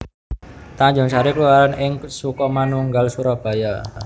Tanjungsari kelurahan ing Sukomanunggal Surabaya